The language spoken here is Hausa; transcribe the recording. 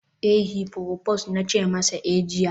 eh, heproposed na ce masa eh jiya